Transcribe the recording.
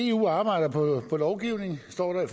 eu arbejder på lovgivning står der i